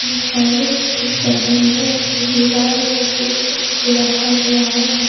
इंसाने भी दिख रहे है। दीवार में स्विच बोर्ड रखा गया है।